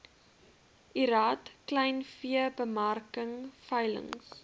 lrad kleinveebemarking veilings